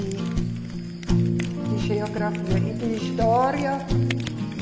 E de geografia e de história.